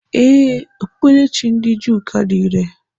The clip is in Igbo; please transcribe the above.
Ee, Okpukperechi ndị Juu ka dị irè.